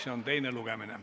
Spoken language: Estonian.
See on teine lugemine.